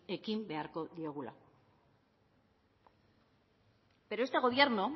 ekin beharko diogula pero este gobierno